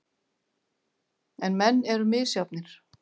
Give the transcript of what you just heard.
En menn eru misjafnir.